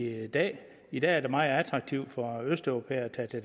i dag i dag er det meget attraktivt for østeuropæere at tage til